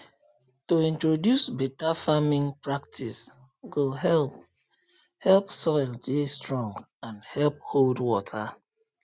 to introduce better farming practice go help help soil dey strong and help hold water